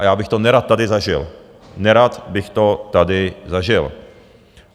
A já bych to nerad tady zažil, nerad bych to tady zažil.